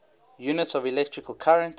units of electrical current